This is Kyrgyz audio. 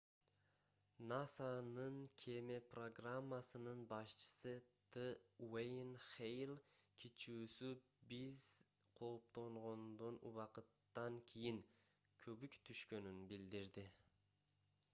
насанын кеме программасынын башчысы т уэйен хэйл кичүүсү биз кооптонгондон убакыттан кийин көбүк түшкөнүн билдирди